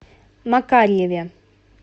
макарьеве